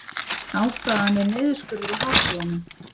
Ástæðan er niðurskurður í háskólanum